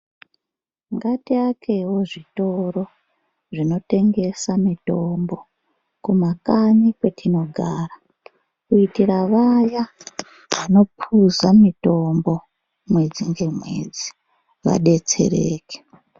Ngatiakewo zvitoro zvinotengesa mitombo kumakanyi kwetinogara kuitira vaya vanopuza mitombo mwedzi ngemwedzi vadetsereke.